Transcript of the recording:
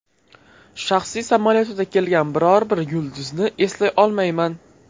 Shaxsiy samolyotida kelgan biror bir yulduzni eslay olmayman.